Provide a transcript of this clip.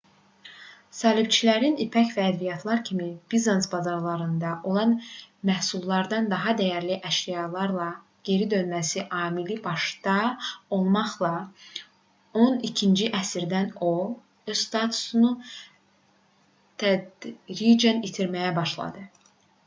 səlibçilərin ipək və ədviyyatlar kimi bizans bazarlarında olan məhsullardan daha dəyərli əşyalarla geri dönməsi amili başda olmaqla on ikinci əsrdə o öz statusunu tədricən itirməyə başladı